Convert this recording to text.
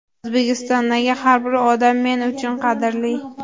O‘zbekistondagi har bir odam men uchun qadrli.